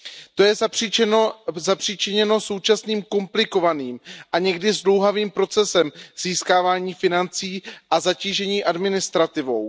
To je zapříčiněno současným komplikovaným a někdy zdlouhavým procesem získávání financí a zatížením administrativou.